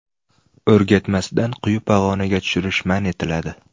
O‘rgatmasdan quyi pog‘onaga tushirish man etiladi.